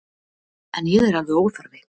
En ég er alveg óþarfi.